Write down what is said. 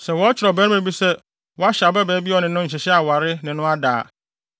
Sɛ wɔkyere ɔbarima bi sɛ wahyɛ ababaa bi a obi ne no nhyehyɛe aware, ne no ada a,